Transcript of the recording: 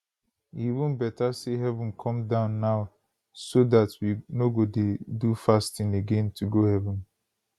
e even beta say heaven come down now so dat we no go dey do fasting again to go heaven